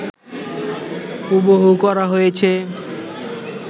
হুবহু করা হয়েছে